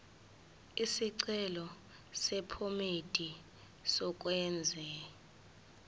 isicelo sephomedi yokwenze